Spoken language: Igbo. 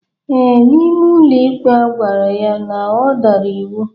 Ee, N'ime ụlọikpe agwara ya na ọ dara iwu.